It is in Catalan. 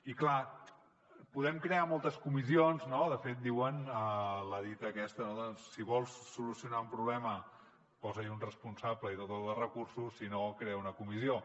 i clar podem crear moltes comissions no de fet diuen la dita aquesta no de si vols solucionar un problema posa hi un responsable i dota’l de recursos si no crea una comissió